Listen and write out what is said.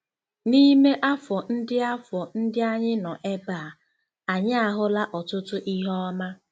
N'ime afọ ndị afọ ndị anyị nọ ebe a, anyị ahụla ọtụtụ ihe ọma.